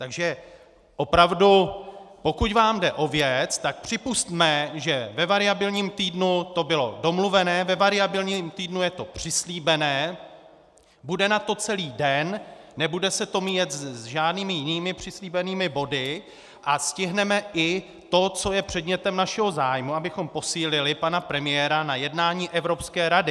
Takže opravdu, pokud vám jde o věc, tak připusťme, že ve variabilním týdnu to bylo domluvené, ve variabilním týdnu je to přislíbené, bude na to celý den, nebude se to míjet s žádnými jinými přislíbenými body a stihneme i to, co je předmětem našeho zájmu, abychom posílili pana premiéra na jednání Evropské rady.